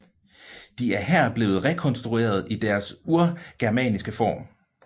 De er her blevet rekonstrueret i deres urgermanske form